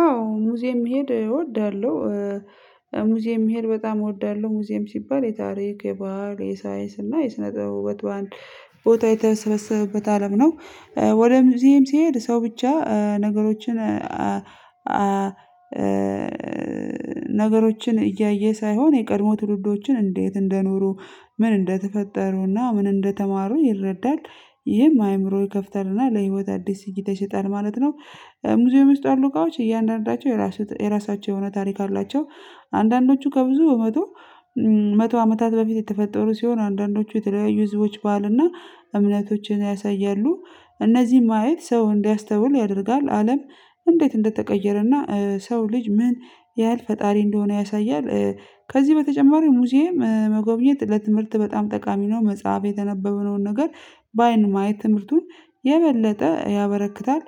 አዎ ሙዚየም መሄድ እወዳለሁ። ሙዚየም መሄድ በጣም እወዳለሁ ሙዚየም ሲባል የታሪክ የባህል የሳይንስ እና የስነ ጥበብ ቦታ የተሰበሰቡበት አለም ነው። ወደ ሙዚየም ስሄድ ሰው ብቻ ነገሮችን። ነገሮችን እያየ ሳይሆን የቀድሞ ትውልዶችን እንዴት እንደኖሩ ምን እንደተፈጠሩና ምን እንደተማሩ ይረዳል። ይሄም አእምሮ ይከፍታልና ለህይወት አዲስ ሲግተን ይሰጣል ማለት ነው። ሙዚየም ይስጣሉ ካዎች እያንዳንዳቸው የራሳቸው የሆነ ታሪክ አላቸው። አንዳንዶቹ ከብዙ በመቶ መቶ አመታት በፊት የተፈጠሩ ሲሆን አንዳንዶቹ የተለያዩ ህዝቦች ባህልና እምነቶችን ያሳያሉ። እነዚህ ማየት ሰው እንዲያስተውል ያደርጋል አለም እንዴት እንደተቀየረና ሰው ልጅ ምን ያህል ፈጣሪ እንደሆነ ያሳያል። ከዚህ በተጨማሪ ሙዚየም መጎብኘት ለትምህርት በጣም ጠቃሚ ነው መጽሐፍ የተነበበውን ነገር በአይን ማየት ትምህርቱን የበለጠ ያበረክታል።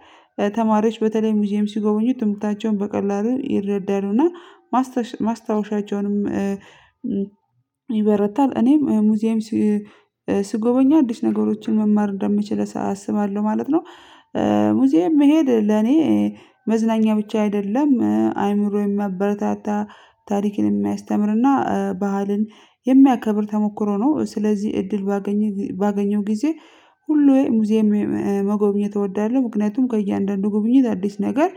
ተማሪዎች በተለይም ሙዚየም ሲጎበኙ ትምህርታቸውን በቀላሉ ይረዳሉና ማስታወሻቸውንም ይበረታል። እኔም ሙዚየም ስጎበኛ አዲስ ነገሮችን መማር እንደምችል አስባለሁ ማለት ነው። ሙዚየም መሄድ ለኔ መዝናኛ ብቻ አይደለም አይምሮዬን ሚያበረታታ ታሪክን የሚያስተምርና ባህልን የሚያከብር ተሞክሮ ነው። ስለዚህ እድል ባገኘው ጊዜ ሁሉ የሙዚየም መጎብኘት እወዳለሁ ምክንያቱም ከእያንዳንዱ ጉብኝት አዲስ ነገር